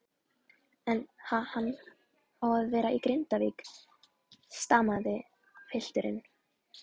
En ha-hann á að vera í Grindavík, stamaði pilturinn.